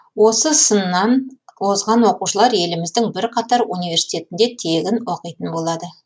осы сыннан озған оқушылар еліміздің бірқатар университетінде тегін оқитын болады